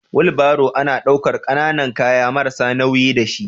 Wulbaro ana daukar kananan kaya marasa nauyi da shi.